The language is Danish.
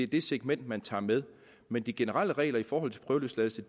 det segment man tager med men de generelle regler i forhold til prøveløsladelse